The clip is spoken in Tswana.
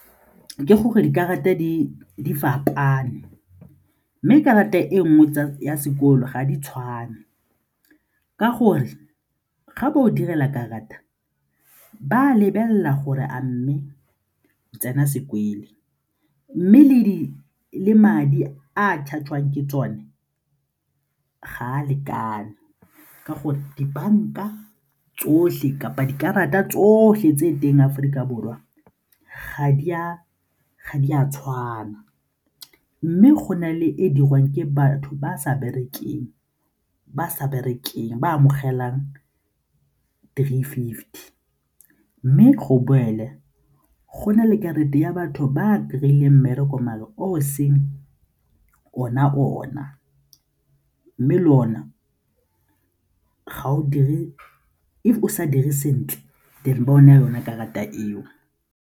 Ke gore dikarata di fapane mme karata e nngwe tsa sekolo ga di tshwane ka gore ga ba go direla karata ba a lebelela gore a mme o tsena sekolo mme le madi a charge-iwang ke tsone ga a lekane ka gore dibanka tsotlhe kapa dikarata tsotlhe tse ko teng Aforika Borwa, ga di a tshwana mme go na le e dirwang ke batho ba sa berekang ba amogelang three fifty mme go boele go na le karata ya batho ba a kry-ileng mmereko o o seng ona-ona mme le one fa o sa dire sentle then ba go naya yone karata eo.